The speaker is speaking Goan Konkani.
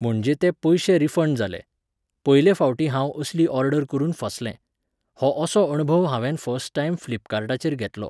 म्हणजे ते पयशे रिफण्ड जाले. पयलें फावटीं हांव असली ऑर्डर करून फसलें. हो असो अणभव हांवेन फस्ट टायम फ्लिपकार्टाचेर घेतलो.